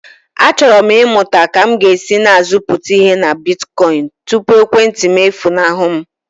Achọrọ m ịmụta ka m ga-esi na-azụpụta ihe na bitkoịn tupu ekwentị m efunahụ m.